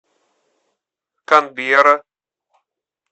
канберра